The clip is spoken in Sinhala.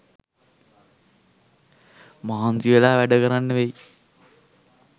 මහන්සිවෙලා වැඩකරන්න වෙයි